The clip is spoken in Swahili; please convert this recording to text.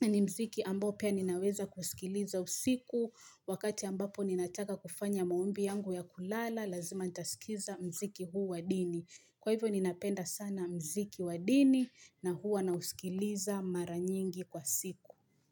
ni mziki ambao pia ninaweza kusikiliza usiku Wakati ambapo ninataka kufanya maombi yangu ya kulala, lazima ntaskiza mziki huu wadini Kwa hivyo ninapenda sana mziki wadini na huwa nausikiliza mara nyingi kwa siku.